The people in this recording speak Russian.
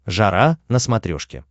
жара на смотрешке